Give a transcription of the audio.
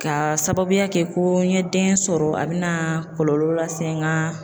K'a sababuya kɛ ko n ye den sɔrɔ a bɛna kɔlɔlɔ lase n ka